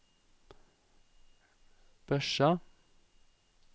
Børsa